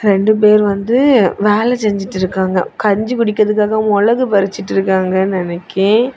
ரெண்டு பேர் வந்து வேல செஞ்சுட்டு இருக்காங்க கஞ்சி குடிப்பதற்காக மொளகு பறிச்சிட்டு இருக்காங்க நினைக்க.